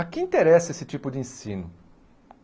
A quem interessa esse tipo de ensino?